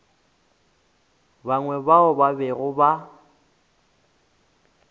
bangwe bao ba bego ba